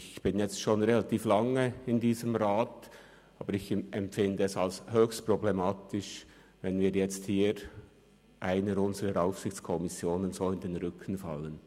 Ich bin jetzt schon relativ lange in diesem Rat, aber ich empfinde es als höchst problematisch, wenn wir jetzt einer unserer Aufsichtskommissionen auf diese Weise in den Rücken fallen.